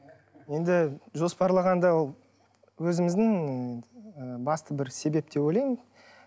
енді жоспарлағанда ол өзіміздің ы басты бір себеп деп ойлаймын